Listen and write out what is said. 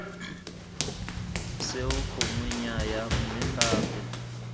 seo gongwe nnyaya mme gape